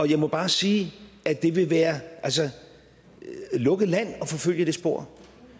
jeg må bare sige at det vil være lukket land at forfølge det spor